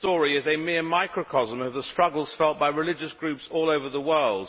His story is a mere microcosm of the struggles felt by religious groups all over the world.